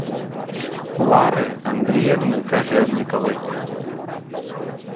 лары андреевны кожевниковой